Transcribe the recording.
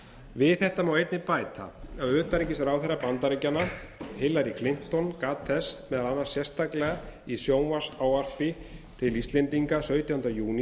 við þetta má einnig bæta að utanríkisráðherra bandaríkjanna hillary clinton gat þess meðal annars sérstaklega í sjónvarpsávarpi til íslendinga sautjánda júní